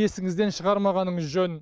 есіңізден шығармағаныңыз жөн